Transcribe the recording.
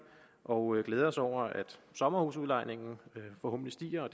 og glæder os over at antallet af sommerhusudlejninger forhåbentlig stiger og